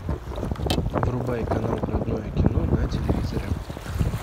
врубай канал родное кино на телевизоре